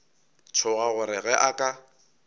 tšhoga gore ge a ka